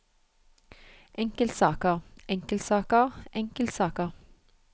enkeltsaker enkeltsaker enkeltsaker